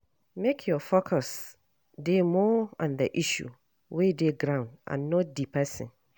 Make your focus dey more on the issue wey dey ground and not di person